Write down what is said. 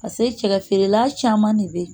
pase cɛ feerela caman de be yen